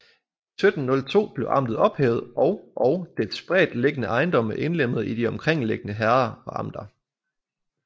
I 1702 blev amtet ophævet og og dets spredt liggende ejendomme indlemmet i de omkringliggende herrder og amter